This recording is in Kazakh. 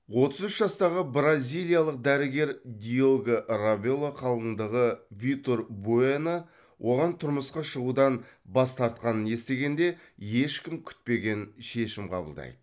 отыз үш жастағы бразилиялық дәрігер диого рабело қалыңдығы витор буэно оған тұрмысқа шығудан бас тартқанын естігенде ешкім күтпеген шешім қабылдайды